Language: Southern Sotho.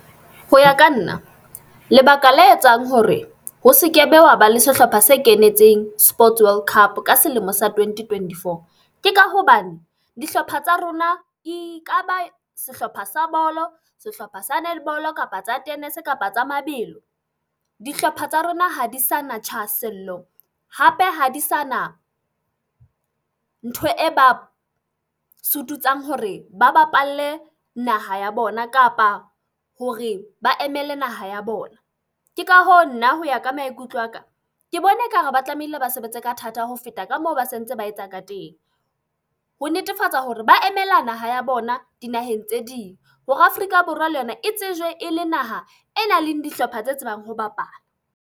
Ho ya ka nna, lebaka la etsang hore ho seke be wa ba le sehlopha se kenetseng sports world cup ka selemo sa twenty twenty-four. Ke ka hobane dihlopha tsa rona eka ba sehlopha sa bolo, sehlopha sa netball-o, kapa tsa tennis-e, kapa tsa mabelo. Dihlopha tsa rona ha di sana thahasello, hape ha di sana ntho e ba sututsang hore ba bapalle naha ya bona kapa hore ba emele naha ya bona. Ke ka hoo nna hoya ka maikutlo a ka, ke bona ekare ba tlamehile ba sebetse ka thata ho feta ka moo ba sentse ba etsa ka teng ho netefatsa hore ba emela naha ya bona dinaheng tse ding hore Afrika Borwa le yona e tsejwe ele naha e nang le dihlopha tse tsebang ho bapala.